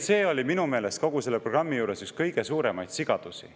See oli minu meelest kogu selle programmi juures üks kõige suuremaid sigadusi.